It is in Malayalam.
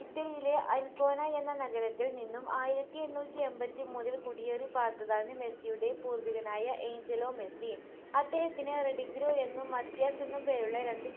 ഇറ്റലിയിലെ അൻകോന എന്ന നഗരത്തിൽ നിന്നും ആയിരത്തിഎണ്ണൂറ്റിഎമ്പത്തിമൂന്നിൽ കുടിയേറിപ്പാർത്തതാണ് മെസ്സിയുടെ പൂർവ്വികനായ ഏയ്ഞ്ചലോ മെസ്സി അദ്ദേഹത്തിന് റഡിഗ്രോ എന്നും മത്യാസ് എന്നും പേരുള്ള രണ്ട്